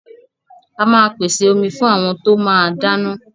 A máa pèsè omi fún àwọn tó máa dáná.